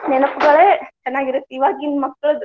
ನೆನಪುಗಳೇ ಚನ್ನಾಗಿ ಇವಾಗಿನ ಮಕ್ಳ್ದ್.